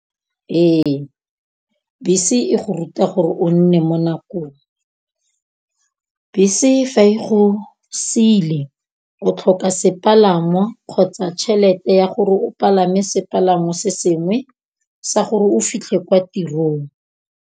Ee, bese e go ruta gore o nne mo nakong. Bese fa e go sile o tlhoka sepalangwa, kgotsa tšhelete ya gore o palame sepalamo se sengwe sa gore o fitlhe kwa tirong.